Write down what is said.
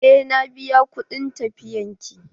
Eh na biya kuɗin tafiyar ki.